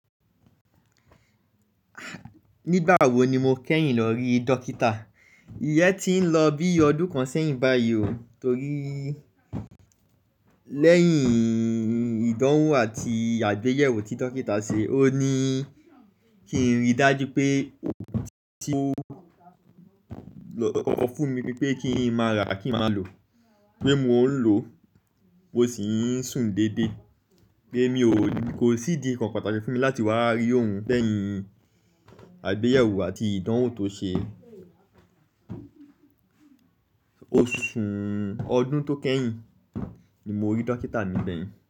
Nígbà wó ní mó kẹ́yìn lọ rí dókítà? Iyẹ́ ti ń lọ bí ọdún kan sẹ́yìn báyìí o. Torí lẹ́yìn ìdánwò àti àgbéyẹ̀wò tí dókítà ṣe, ó ní kí n ríi dájú pé tí ó fún mi wípé kí n máa ra kí n máa lò, pé mo ń lò ó sì ń sùn dédé. Pé mi kò sí di kànkàn pàtàkì fún mi láti wá rí òun lẹ́yìn àgbéyẹ̀wò àti ìdánwò tó ṣe. Oṣù ọdún tó kẹ́yìn ní mó rí dókítà ní gbẹ̀yìn.